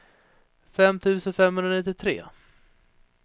fem tusen femhundranittiotre